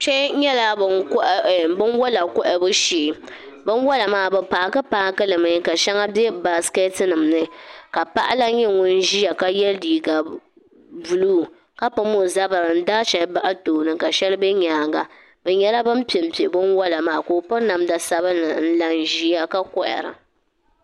Kpɛ nyɛla binwola kohabu shee binwola maa bi paaki paaki li mi ka shɛli bɛ baasi keeti nima ni ka paɣa lan nyɛ ŋun ʒiya ka yɛ liiga buluu ka pam o zabiri n daa shɛli bahi tooni ka shɛli bɛ nyaanga bi nyɛla bin penpe bin wola maa ka o piri namda sabinli n la ʒiya ka kohara